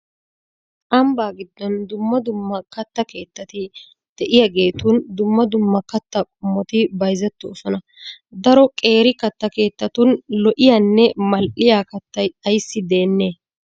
Ambbaa giddon dumma dumma kattaa keettaati de'iyageetun dumma dumma kattaa qommoti bayizettoosona. Daro qeeri katta keettaatun lo'iyaanne mal'iya kattay ayissi deennee?